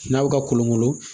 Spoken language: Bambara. N'a bɛ ka kolonkolo